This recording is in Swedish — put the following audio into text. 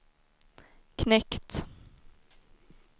knekt